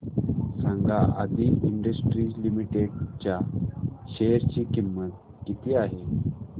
सांगा Aadi industries limited च्या share ची किंमत किती आहे